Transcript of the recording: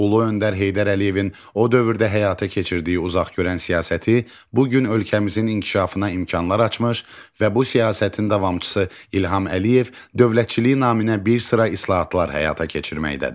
Ulu öndər Heydər Əliyevin o dövrdə həyata keçirdiyi uzaqgörən siyasəti bu gün ölkəmizin inkişafına imkanlar açmış və bu siyasətin davamçısı İlham Əliyev dövlətçilik naminə bir sıra islahatlar həyata keçirməkdədir.